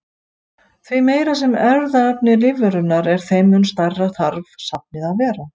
Því meira sem erfðaefni lífverunnar er þeim mun stærra þarf safnið að vera.